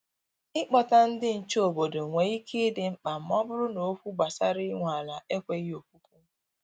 I Kpọta ndị nche obodo nwe ike ịdị mkpa ma ọ bụrụ na okwu gbasara inwe ala ekweghị okwukwu.